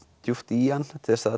djúpt í hann til að